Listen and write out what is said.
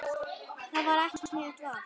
Það var ekki sniðugt val.